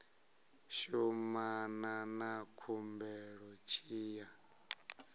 shumana na khumbelo tshi ya